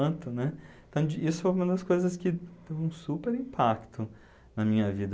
tanto, né? Então, isso foi uma das coisas que teve um super impacto na minha vida.